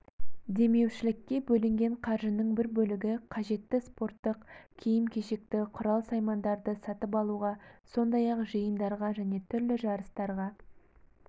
демеушілікке бөлінген қаржының бір бөлігі қажетті спорттық киім-кешекті құрал-саймандарды сатып алуға сондай-ақ жиындарға және түрлі жарыстарға